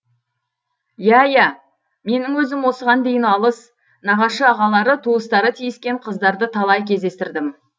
иә иә менің өзім осыған дейін алыс нағашы ағалары туыстары тиіскен қыздарды талай кездестірдім